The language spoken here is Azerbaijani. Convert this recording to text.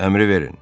Əmri verin.